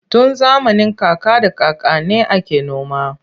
Tun zamanin kaka da kakanni ake noma.